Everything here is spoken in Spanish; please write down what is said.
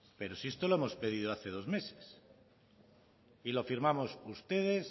pero si esto lo hemos pedido hace dos meses y lo firmamos ustedes